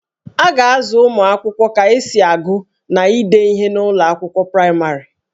A ga-azụ ụmụ akwụkwọ ka esi agụ na ide ihe n'ụlọ akwụkwọ praịmarị